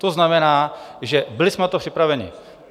To znamená, že byli jsme na to připraveni.